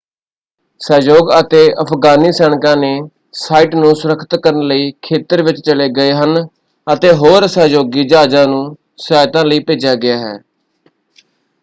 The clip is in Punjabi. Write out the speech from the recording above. ਸਹਿਯੋਗ ਅਤੇ ਅਫਗਾਨੀ ਸੈਨਿਕਾ ਨੇ ਸਾਈਟ ਨੂੰ ਸੁਰੱਖਿਅਤ ਕਰਨ ਲਈ ਖੇਤਰ ਵਿੱਚ ਚਲੇ ਗਏ ਹਨ ਅਤੇ ਹੋਰ ਸਹਿਯੋਗੀ ਜਹਾਜ਼ਾਂ ਨੂੰ ਸਹਾਇਤਾ ਲਈ ਭੇਜਿਆ ਗਿਆ ਹੈ।